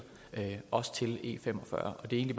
der også til e45 og det er